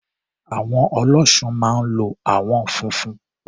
Àwọ̀n Ọlọ́ṣun máa ń lo àwọn funfun.